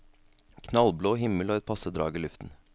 Knallblå himmel og et passe drag i luften.